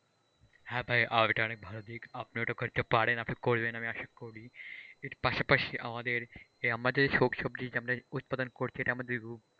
হে ভাই organic ভালো দিক আপনি ওটা করতে পারেন আপনি করলেন আমি আশা করি কিন্তু পাশাপাশি আমাদের কে আমাদের শাকসবজি উৎপাদন করছি এটা আমাদের রূপ।